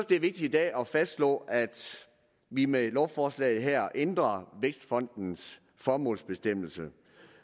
det er vigtigt i dag at fastslå at vi med lovforslaget her ændrer vækstfondens formålsbestemmelse